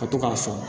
Ka to k'a fɔ